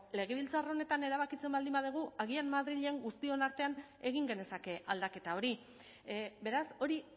legebiltzar honetan erabakitzen baldin badugu agian madrilen guztion artean egin genezake aldaketa hori beraz hori